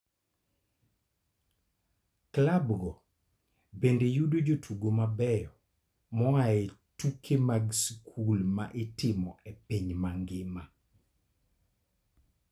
Klabgo bende yudo jotugo mabeyo moa e tuke mag skul ma itimo e piny mangima.